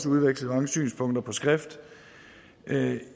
udvekslet mange synspunkter på skrift